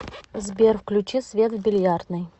сбер включи свет в бильярдной